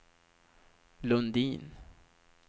Lundin